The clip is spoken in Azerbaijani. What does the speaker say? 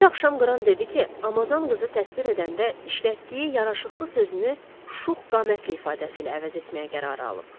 Bir axşam Qran dedi ki, Amazon qızı təsvir edəndə işlətdiyi yaraşıqlı sözünü şux qamətli ifadəsi ilə əvəz etməyə qərarı alıb.